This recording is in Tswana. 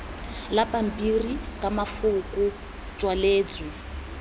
la pampiri ka mafoko tswaletswe